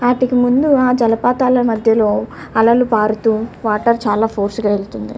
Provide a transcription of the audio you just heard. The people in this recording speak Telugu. వాటికి ముందు ఆ జలపాతాల మధ్యలో అలలు పారుతూ వాటర్ చాలా ఫోర్స్ గా వెళ్ళ్తున్నాయి.